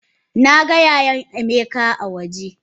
Naga yayan emeka a waje.